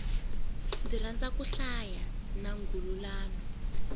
ndzi rhandza ku hlaya nwangulano